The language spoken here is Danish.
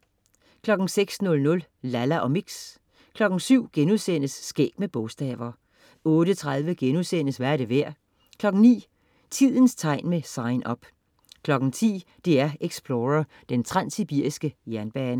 06.00 Lalla og Mix 07.00 Skæg med bogstaver* 08.30 Hvad er det værd?* 09.00 Tidens tegn med Sign Up 10.00 DR Explorer: Den transsibiriske jernbane